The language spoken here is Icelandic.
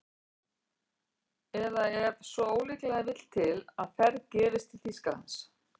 Eða ef svo ólíklega vill til að ferð gefist til Þýskalands